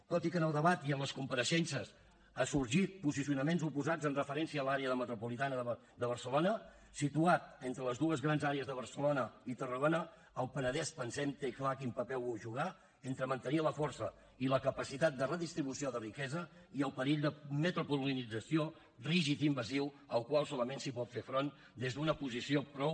tot i que en el debat i en les compareixences han sorgit posicionaments oposats amb referència a l’àrea metropolitana de barcelona situat entre les dues grans àrees de barcelona i tarragona el penedès pensem té clar quin paper vol jugar entre mantenir la força i la capacitat de redistribució de riquesa i el perill de metropolització rígid i invasiu al qual solament es pot fer front des d’una posició prou